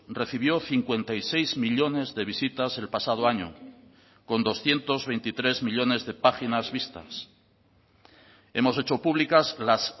recibió cincuenta y seis millónes de visitas el pasado año con doscientos veintitrés millónes de páginas vistas hemos hecho públicas las